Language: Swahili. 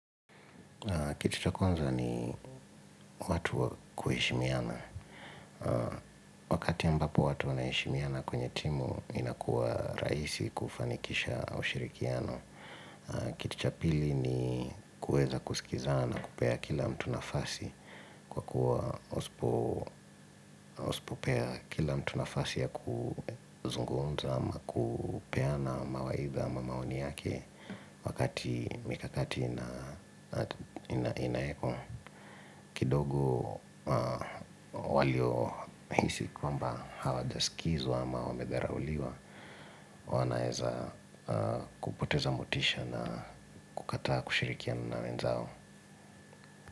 Kitu cha kwanza ni watu kuheshimiana. Wakati ambapo watu wanaeshimiana kwenye timu inakuwa raisi kufanikisha ushirikiano. Kitu cha pili ni kueza kusikiza na kupea kila mtu nafasi. Kwa kuwa usipo usipopea kila mtu nafasi ya kuzungumza ama kupea na mawaidha ama maoni yake. Wakati mikakati ina ina inaekwa kidogo walio hisi kwamba hawa jaskizwa ama wamedhara uliwa wanaeza kupoteza motisha na kukataa kushirikiana na wenzao.